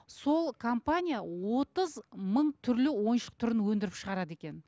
сол компания отыз мың түрлі ойыншық түрін өндіріп шығарады екен